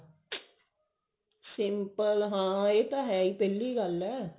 simple ਹੈ ਇਹ ਤਾਂ ਹੈ ਹੀ ਪਹਿਲੀ ਗੱਲ ਹੈ